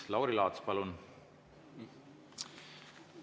Lauri Laats, palun!